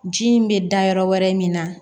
Ji in bɛ da yɔrɔ wɛrɛ min na